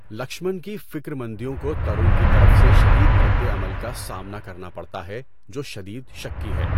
لکشمن کی فکر مندیوں کو ترون کی طرف سے شدید رد عمل کا سامنا کرنا پڑتا ہے، جو شدید شکی ہے۔